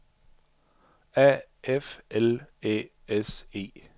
A F L Æ S E